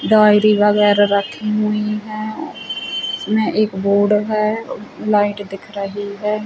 बाल्टी वगैरा रखी हुईं हैं इसमें एक बोर्ड है लाइट दिख रही है।